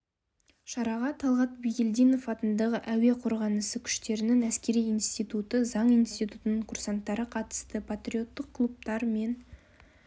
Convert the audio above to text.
шараға талғат бигелдинов атындағы әуе қорғанысы күштерінің әскери институты заң институтының курсанттары қатысты патриоттық клубтар мен